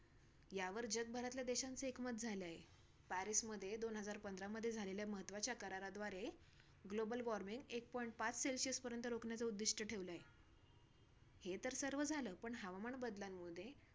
यावर जगभरातल्या देशांचे एकमत झाले आहे. पॅरिसमध्ये दोन हजार पंधरामध्ये झालेल्या महत्वाच्या कराराद्वारे global warming, eight point पाच celsius पर्यंत रोकण्याचा उद्धिष्ट ठेवला आहे. हे तर सर्व झालं. पण हवामान बदलांमध्ये